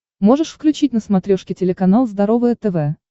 можешь включить на смотрешке телеканал здоровое тв